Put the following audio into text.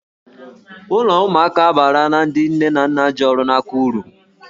Ụlọ ụmụaka abaarala ndị nne na nna ji ọrụ n'aka uru.